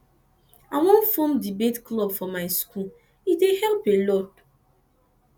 i wan form debate club for my school e dey help a lot um